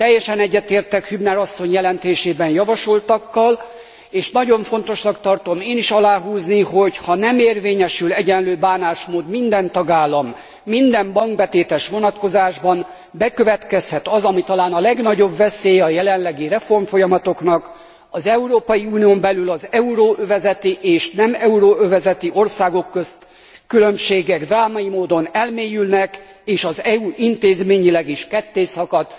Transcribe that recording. Teljesen egyetértek a Hübner asszony jelentésében javasoltakkal, és nagyon fontosnak tartom én is aláhúzni, hogy ha nem érvényesül egyenlő bánásmód minden tagállam és minden bankbetétes vonatkozásában, akkor bekövetkezhet az, ami talán a legnagyobb veszélye a jelenlegi reformfolyamatoknak az Európai Unión belül az euróövezeti és nem euróövezeti országok közötti különbségek drámai módon elmélyülnek, és az EU intézményileg is kettészakad.